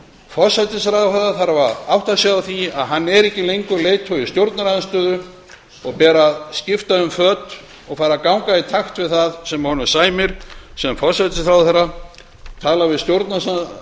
forsætisráðherra þarf að átta sig á því að hann er ekki lengur leiðtogi stjórnarandstöðu honum ber að skipta um föt og fara að ganga í takt við það sem honum sæmir sem forsætisráðherra tala við